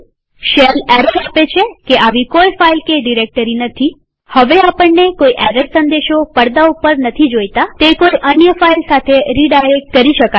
shell error આપે છે કે આવી કોઈ ફાઈલ કે ડિરેક્ટરી નથી હવે આપણને કોઈ એરર સંદેશો પડદા ઉપર નથી જોઈતાતે કોઈ અન્ય ફાઈલ સાથે રીડાયરેક્ટ કરી શકાય છે